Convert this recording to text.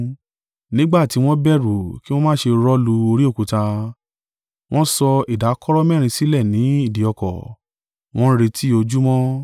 Nígbà tí wọ́n bẹ̀rù kí wọn má ṣe rọ́ lu orí òkúta, wọ́n sọ ìdákọ̀ró mẹ́rin sílẹ̀ ni ìdí ọkọ̀, wọ́n ń retí ojúmọ́.